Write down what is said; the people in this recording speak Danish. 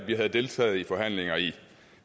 vi havde deltaget i forhandlinger i